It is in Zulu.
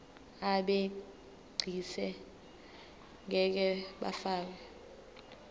abegcis ngeke bafakwa